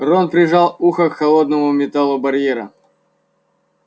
рон прижал ухо к холодному металлу барьера